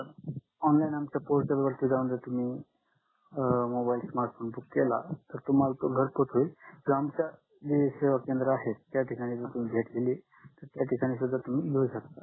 ऑनलाइनआमच्या portal वरती जाऊन जर तुम्ही मोबाईल स्मार्टफोन बुक केला त तुम्हाला तो घरपोच होईल यांच्या सेवा केंद्र आहे तित तुम्ही भेट दिली तर त्या त सुद्ध तुम्ही घेऊ शकता